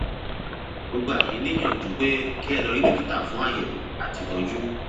mo gbà yín níyànjú pé kí ẹ lọ rí dókítà fún àyẹwò àti ìtọjú